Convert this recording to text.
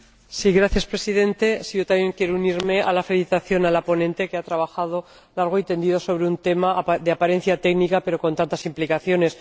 Señor Presidente, yo también quiero unirme a la felicitación a la ponente, que ha trabajado largo y tendido sobre un tema de apariencia técnica, pero con tantas implicaciones.